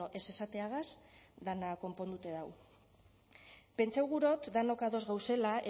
ez esateagaz dena konponduta dago pentsatu gura dot denok ados gauzela